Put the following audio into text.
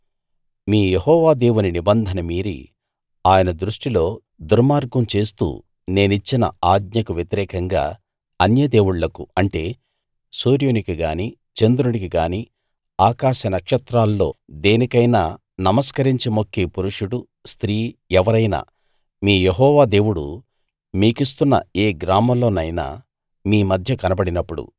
మీ Jehovah దేవుని నిబంధన మీరి ఆయన దృష్టిలో దుర్మార్గం చేస్తూ నేనిచ్చిన ఆజ్ఞకు వ్యతిరేకంగా అన్యదేవుళ్ళకు అంటే సూర్యునికి గానీ చంద్రునికి గానీ ఆకాశ నక్షత్రాల్లో దేనికైనా నమస్కరించి మొక్కే పురుషుడు స్త్రీ ఎవరైనా మీ యెహోవా దేవుడు మీకిస్తున్న ఏ గ్రామంలోనైనా మీ మధ్య కనబడినప్పుడు